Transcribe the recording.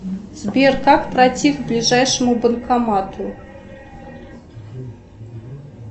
сбер как пройти к ближайшему банкомату